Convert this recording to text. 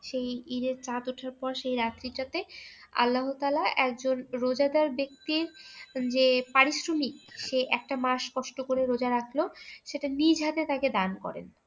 সেই ঈদের চাঁদ ওঠার পর সেই রাত্রিটাতে আল্লাহতালা একজন রোজাদার ব্যক্তির যে পারিশ্রমিক সে একটা মাস কষ্ট করে রোজা রাখলো সেটা নিজ হাতে তাকে দান করে